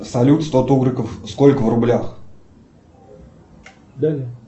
салют сто тугриков сколько в рублях